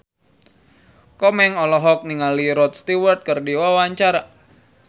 Komeng olohok ningali Rod Stewart keur diwawancara